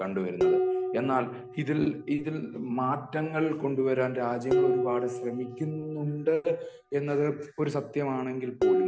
കണ്ടുവരുന്നത് . എന്നാൽ ഇതിൽ ഇതിൽ മാറ്റങ്ങൾ കൊണ്ട് വരാൻ രാജ്യങ്ങള് ഒരുപാട് ശ്രമിക്കുന്നുണ്ട് എന്നത് ഒരു സത്യമാണെങ്കിൽ പോലും